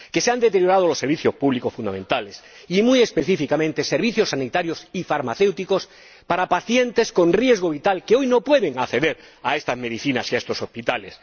Que se han deteriorado los servicios públicos fundamentales y, muy específicamente, servicios sanitarios y farmacéuticos para pacientes con riesgo vital que hoy no pueden acceder a estas medicinas y a estos hospitales.